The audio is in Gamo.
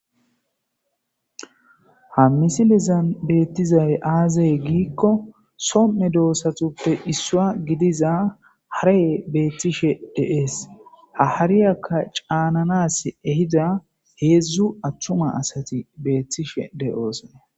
Ha missilezan bettizayi aze gikko soo meddossatuppe issuwa giddiza hareyi betishshe de'es ha hariyakka cannanas ehiza hedzdzu attuma asati bettishe de'ossona.